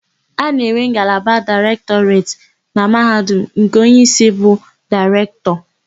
A na-enwe ngalaba Daịrektọreti na Mahadum nke onyeísí bụ Daịrektọ.